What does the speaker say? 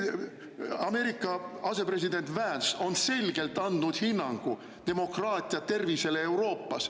Ameerika asepresident Vance on selgelt andnud hinnangu demokraatia tervisele Euroopas.